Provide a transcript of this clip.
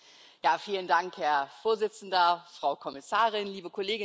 Herr Präsident, Frau Kommissarin, liebe Kolleginnen und Kollegen!